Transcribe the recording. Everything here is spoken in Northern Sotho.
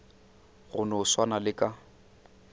go no swana le ka